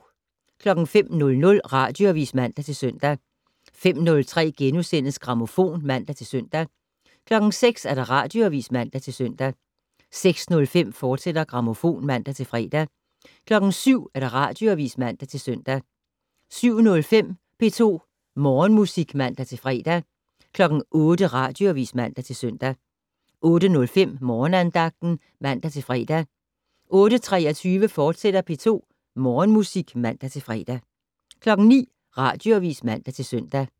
05:00: Radioavis (man-søn) 05:03: Grammofon *(man-søn) 06:00: Radioavis (man-søn) 06:05: Grammofon, fortsat (man-fre) 07:00: Radioavis (man-søn) 07:05: P2 Morgenmusik (man-fre) 08:00: Radioavis (man-søn) 08:05: Morgenandagten (man-fre) 08:23: P2 Morgenmusik, fortsat (man-fre) 09:00: Radioavis (man-søn)